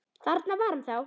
Þarna var hann þá!